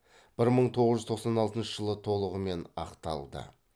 бір мың тоғыз жүз тоқсан алтыншы жылы толығымен ақталды